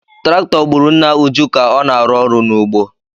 Traktọ gburu nna Uju ka ọ na-arụ ọrụ n’ugbo.